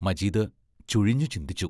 മജീദ് ചുഴിഞ്ഞു ചിന്തിച്ചു.